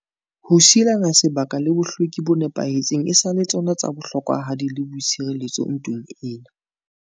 Ho sielana sebaka le bohlweki bo nepahetseng e sa le tsona tsa bohlokwahadi le boitshireletso ntweng ena.